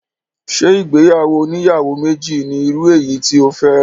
Ṣé ìgbéyàwó oníyàwó méjì ni irú eyi tí o fẹ́?